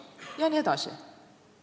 Jne.